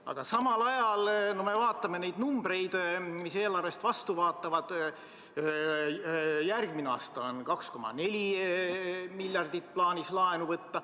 Aga vaatame samal ajal numbreid, mis eelarvest vastu vaatavad: järgmisel aastal on plaanis 2,4 miljardit laenu võtta.